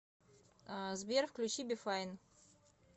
сбер включи би файн